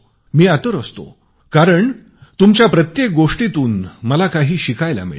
मी आतुर असतो कारण तुमच्या प्रत्येक गोष्टीतून मला काही शिकायला मिळते